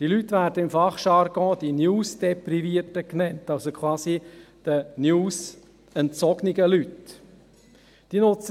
Im Fachjargon werden diese Leute als die «Newsdeprivierten» genannt, also die den News entzogenen Leute.